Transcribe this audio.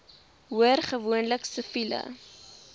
hoor gewoonlik siviele